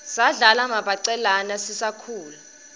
sadlala mabhacelaua sisakhula